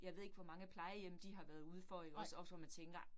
Jeg ved ikke hvor mange plejehjem de har været udefor ikke også, også hvor man tænker